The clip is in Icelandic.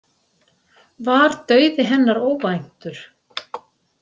Var dauði hennar óvæntur?